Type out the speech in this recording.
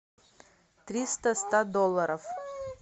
триста ста долларов